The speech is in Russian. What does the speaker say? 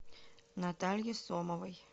натальи сомовой